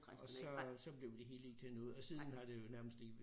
Og så så blev det hele ikke til noget og siden har det jo nærmest ikke